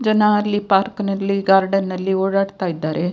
ಜನ ಅಲ್ಲಿ ಪಾರ್ಕ್ನಲ್ಲಿ ಗಾರ್ಡನ್ ನಲ್ಲಿ ಓಡಾಡ್ತಾ ಇದ್ದಾರೆ.